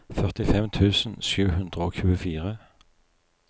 førtifem tusen sju hundre og tjuefire